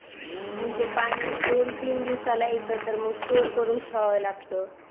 म्हणजे पाणी दोन तीन दिवसाला येत तर मग स्टोर करून ठेवाव लागत